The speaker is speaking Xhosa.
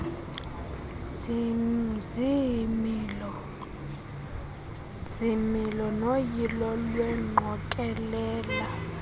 ziimilo noyilo lwengqokelela